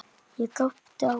Ég glápti á hana.